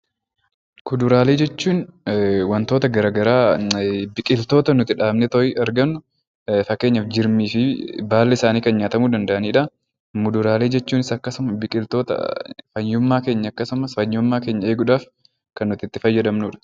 Kuduraalee jechuun waantota garaagaraa biqiltoota nuti dhaabnee argannu fakkeenyaaf jirmii fi baalli isaanii nyaatamu kan danda'anidha. Muduraalee jechuun biqiltoota akkasuma fayyummaa keenya eeguudhaaf kan nuti itti fayyadamnudha.